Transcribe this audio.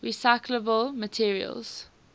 recyclable materials